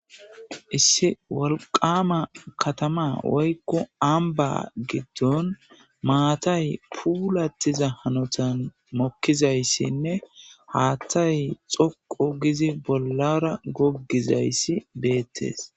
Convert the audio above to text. issi wolqama katama woykko amba giddon maatay puulattiza hanotan mokkizayssinne haatthay xoqu gizi bollara goggizayssi beettes